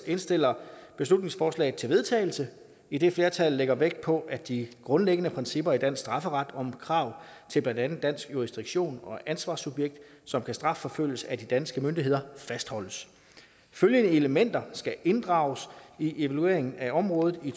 indstiller beslutningsforslaget til vedtagelse idet flertallet lægger vægt på at de grundlæggende principper i dansk strafferet om krav til blandt andet dansk jurisdiktion og ansvarssubjekt som kan strafforfølges af de danske myndigheder fastholdes følgende elementer skal inddrages i evalueringen af området i